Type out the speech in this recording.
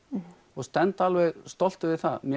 og stend alveg stoltur við það